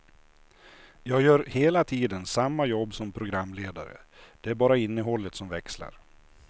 Jag gör hela tiden samma jobb som programledare, det är bara innehållet som växlar.